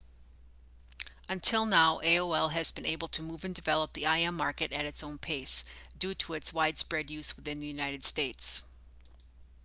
until now aol has been able to move and develop the im market at its own pace due to its widespread use within the united states